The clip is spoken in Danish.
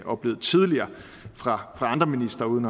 oplevet tidligere fra andre ministre uden